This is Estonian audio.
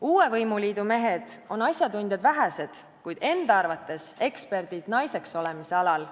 Uue võimuliidu mehed on asjatundjad vähesed, kuid enda arvates eksperdid naiseks olemise alal.